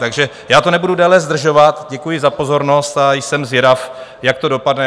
Takže já to nebudu déle zdržovat, děkuji za pozornost a jsem zvědav, jak to dopadne.